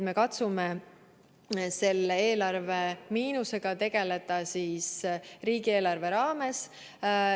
Me katsume eelarve miinusega tegeleda riigieelarve raames.